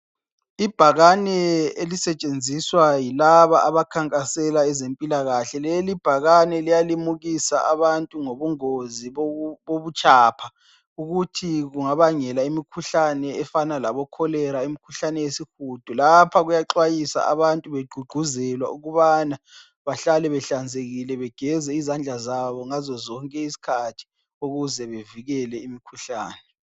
Ibhakane elisetshenziswa yilaba abakhankasela ezempilakahle. Lelibhakane liyalimukisa abantu ngobungozi bobu bobutshapha. Ukuthi bungabangela imikhuhlane efana labocholera, imikhuhlane yesihudo. Lapha kuyaxwayisa abantu begqugquzelwa ukubana bahlale behlanzekile begeze izandla zabo ngazozonke iskhathi, ukuze bevikele imkhuhlane.